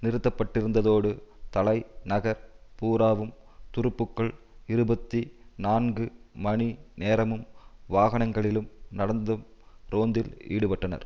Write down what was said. நிறுத்தப்பட்டிருந்ததோடு தலை நகர் பூராவும் துருப்புக்கள் இருபத்தி நான்கு மணி நேரமும் வாகனங்களிலும் நடந்தும் ரோந்தில் ஈடுபட்டனர்